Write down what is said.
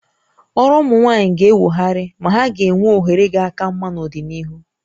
Ọrụ ụmụ nwaanyị ga-enwogharị ma ha ga-enwe ohere ga aka mma n'ọdịnihu